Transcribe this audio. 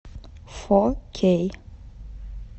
фо кей